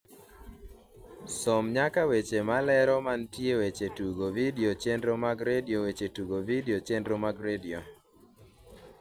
som nyaka weche malero mantie weche tugo vidio chenro mag redio weche tugo vidio chenro mag redio